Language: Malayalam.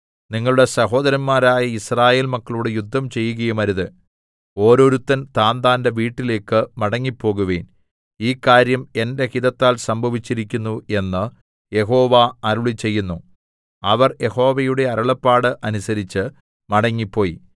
നിങ്ങളുടെ സഹോദരന്മാരായ യിസ്രായേൽ മക്കളോട് യുദ്ധം ചെയ്യുകയുമരുത് ഓരോരുത്തൻ താന്താന്റെ വീട്ടിലേക്ക് മടങ്ങിപ്പോകുവിൻ ഈ കാര്യം എന്റെ ഹിതത്താൽ സംഭവിച്ചിരിക്കുന്നു എന്ന് യഹോവ അരുളിച്ചെയ്യുന്നു അവർ യഹോവയുടെ അരുളപ്പാട് അനുസരിച്ച് മടങ്ങിപ്പോയി